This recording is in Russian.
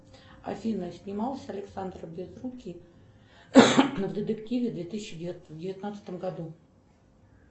афина снимался александр безрукий в детективе в две тысячи девятнадцатом году